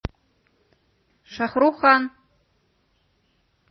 шах рукх кхан